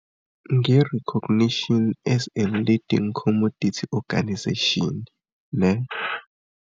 Nge-Recognition as a Leading Commodity Organisation, ne.